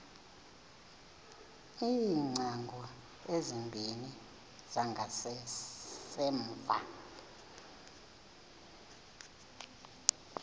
iingcango ezimbini zangasemva